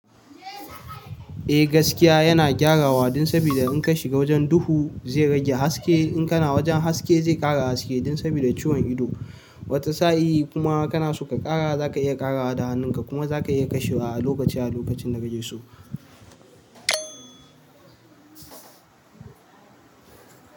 Eh gaskiya yana gyarawa dan saboda in ka shiga wajen duhu zai rage haske. In kana wajen haske zai ƙara haske dan saboda ciwon ido. Wata sa'i kuma kana so ka ƙara za ka iya ƙarawa da hannunka kuma za ka iya kashewa a lokaci a lokacin da ka je so.